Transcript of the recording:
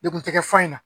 Degun tɛ kɛ fɔ in na